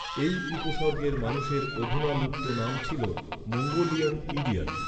এই উপসর্গের মানুষের অধুনা লুপ্ত নাম ছিল, 'মঙ্গোলিয়ান ইডিয়ট'।